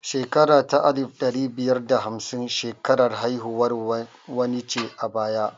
Shekara ta alif ɗari biyar da hamsin shekarar haihuwar wani ce a baya